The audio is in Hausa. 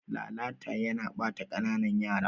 Lalata yana ɓata kananan yara.